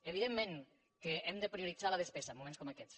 evidentment que hem de prioritzar la despesa en moments com aquests